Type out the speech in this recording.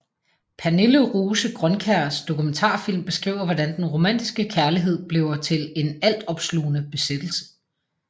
Pernille Rose Grønkjærs dokumentarfilm beskriver hvordan den romantiske kærlighed bliver til en altopslugende besættelse